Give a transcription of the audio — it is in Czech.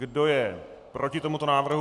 Kdo je proti tomuto návrhu?